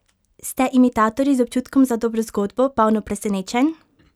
Ste imitatorji z občutkom za dobro zgodbo, polno presenečenj?